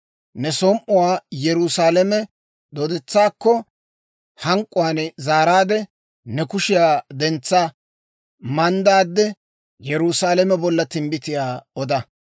Ne som"uwaa Yerusaalame dooddetsaakko hank'k'uwaan zaaraadde, ne kushiyaa dentsa manddaade, Yerusaalame bolla timbbitiyaa oda.